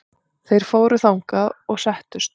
Þeir fóru þangað og settust.